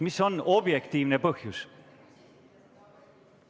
Mis on objektiivne põhjus?